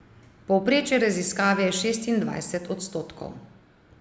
Povprečje raziskave je šestindvajset odstotkov.